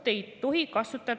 Lugupeetud Riigikogu liikmed!